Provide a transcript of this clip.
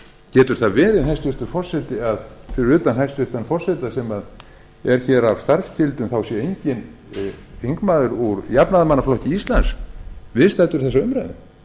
getur það verið hæstvirtur forseti að fyrir utan hæstvirts forseta sem er hér af starfsskyldum sé enginn þingmaður úr jafnaðarmannaflokki íslands viðstaddur þessa umræðu